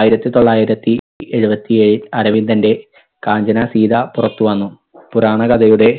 ആയിരത്തി തൊള്ളായിരത്തി എഴുപത്തിയേഴിൽ അരവിന്ദന്റെ കാഞ്ചന സീത പുറത്തുവന്നു. പുരാണ കഥയുടെ